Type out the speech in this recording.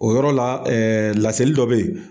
O yɔrɔ la, ɛɛ laseli dɔ be yen.